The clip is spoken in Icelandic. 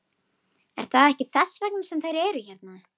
Er það ekki þess vegna sem þeir eru hérna?